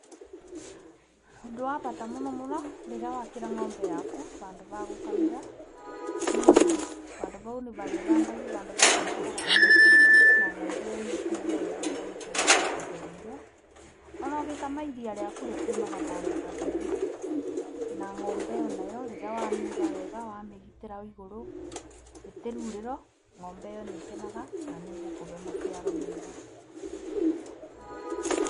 Ũndũ wa bata mũno rĩrĩa wakĩra ng'ombe yaku vandũ va kũkamĩra, nĩũndũ vandũ vau nĩ varĩthambagio, vandũ vau varĩikaraga varĩ hatheru, na ng'ombe ĩyo nĩĩkũigua wega rĩrĩa ĩikarĩte ithereirwo. O na ũgĩkama iria rĩaku rĩumaga vandũ vatheru na ng'ombe o na yo rĩrĩa wamĩiga wega, wamĩgitĩra ĩgũrũ, itiroirĩrwo, ng'ombe ĩ yo nĩĩkenaga na nĩĩkũkũve maciaro mega.